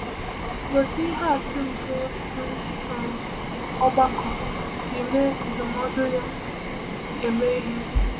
Gosi ihe atụ nke otu um ọgbakọ ji mee ndụmọdụ ya eme ihe.